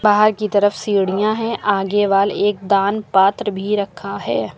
बाहर की तरफ सीढ़ियां हैं आगे वॉल एक दान पात्र भी रखा है।